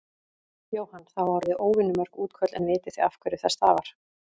Jóhann: Það hafa orði óvenju mörg útköll en vitið þið af hverju það stafar?